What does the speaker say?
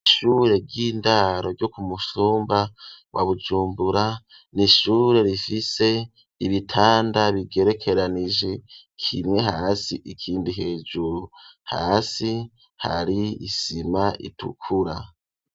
Ishure ry'indaro ryo ku mutumba wa Bujumbura, ni ishure rifise ibitanda bigerekeranije, kinwe hasi ikindi hejuru. Hasi hari isima itukura.